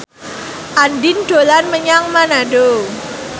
Andien dolan menyang Manado